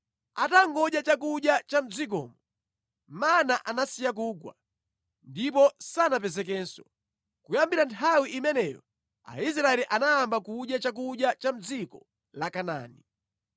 Atangodya chakudya cha mʼdzikomo, mana anasiya kugwa, ndipo sanapezekenso. Kuyambira nthawi imeneyo Aisraeli anayamba kudya chakudya cha mʼdziko la Kanaani.